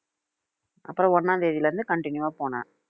அப்புறம் ஒண்ணாம் தேதியிலிருந்து continue வா போனேன்